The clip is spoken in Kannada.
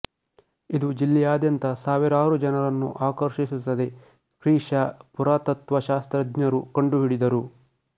ಇದು ಜಿಲ್ಲೆಯಾದ್ಯಂತ ಸಾವಿರಾರು ಜನರನ್ನು ಆಕರ್ಷಿಸುತ್ತದೆ ಕ್ರಿ ಶ ಪುರಾತತ್ವಶಾಸ್ತ್ರಜ್ಞರು ಕಂಡುಹಿಡಿದರು